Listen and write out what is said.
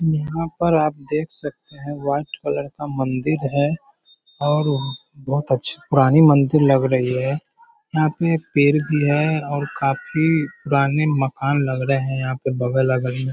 यहाँ पर आप देख सकते हैं व्हाइट कलर का मंदिर है और बहुत अच्छा पुरानी मंदिर लग रही है यहाँ पे एक पेड़ भी है और काफी पुराने मकान लग रहे हैं यहाँ पे बगल-अगल में।